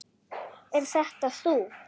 Er þetta þú?